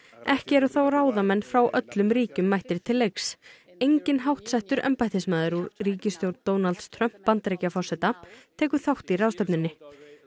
ekki eru þó ráðamenn frá öllum ríkjum mættir til leiks enginn háttsettur embættismaður úr ríkisstjórn Donalds Trump Bandaríkjaforseta tekur þátt í ráðstefnunni